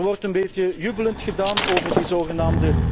Er wordt een beetje jubelend gedaan over die zgn.